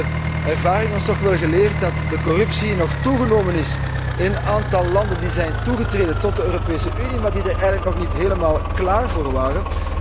Nu heeft de ervaring ons geleerd dat de corruptie nog is toegenomen in een aantal landen die zijn toegetreden tot de Europese Unie, maar die er eigenlijk nog niet helemaal klaar voor waren.